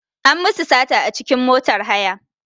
An musu sata a cikin motar haya.